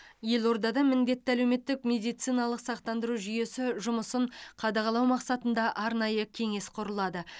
елордада міндетті әлеуметтік медициналық сақтандыру жүйесі жұмысын қадағалау мақсатында арнайы кеңес құрылады